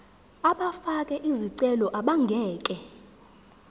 abafake izicelo abangeke